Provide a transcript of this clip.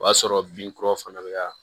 O y'a sɔrɔ binkuraw fana be ka